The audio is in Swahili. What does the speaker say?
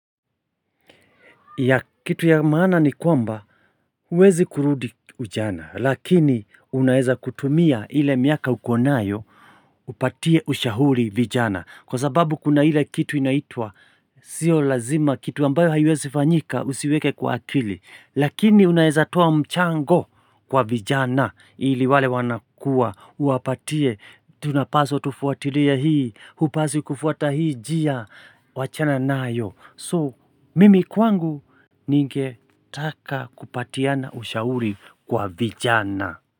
Ya kitu ya maana ni kwamba huwezi kurudi ujana lakini unaeza kutumia ile miaka uko nayo upatie ushauri vijana kwa sababu kuna ile kitu inaitwa sio lazima kitu ambayo haiwezi fanyika usiweke kwa akili lakini unaeza towa mchango kwa vijana ili wale wanakua uwapatie tunapaswa tufuatilie hii hupaswi kufuata hii njia wachana nayo So, mimi kwangu ningetaka kupatiana ushauri kwa vijana.